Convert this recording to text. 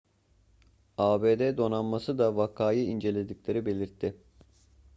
abd donanması da vakayı incelediklerini belirtti